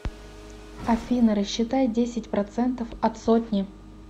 афина рассчитай десять процентов от сотни